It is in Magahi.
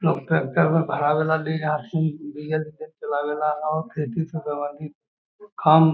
लोग ट्रेक्टर में भरावे ला ले जा हथीन डीजल से चलावे ला हो खेती से संबधित काम --